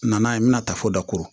Na ye n bɛna taa fo dakoro